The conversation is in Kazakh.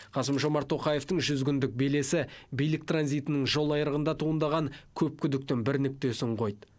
қасым жомарт тоқаевтың жүз күндік белесі билік транзитінің жолайрығында туындаған көп күдіктің бір нүктесін қойды